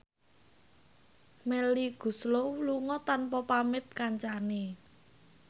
Melly Goeslaw lunga tanpa pamit kancane